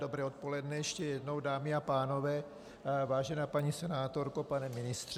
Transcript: Dobré odpoledne ještě jednou, dámy a pánové, vážená paní senátorko, pane ministře.